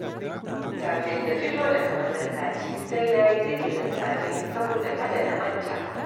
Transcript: Kafin na fito daga masallaci sai na yi zikirin safe saboda kada na manta